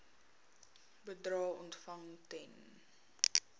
bedrae ontvang ten